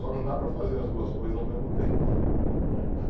Só não dá para fazer as duas coisas ao mesmo tempo.